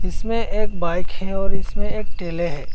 इसमें एक बाइक है और इसमें एक ठेले हैं।